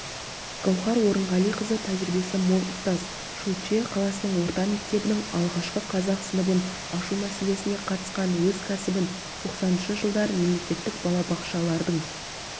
гауһар орынғалиқызы тәжірибесі мол ұстаз шучье қаласының орта мектебінің алғашқы қазақ сыныбын ашу мәселесіне қатысқан өз кәсібін тоқсаныншы жылдары мемлекеттік балабақшалардың